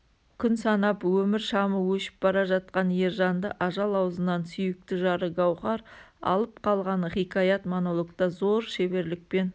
күн санап өмір шамы өшіп бара жатқан ержанды ажал аузынан сүйікті жары гауһар алып қалғаны хикаят-монологта зор шеберлікпен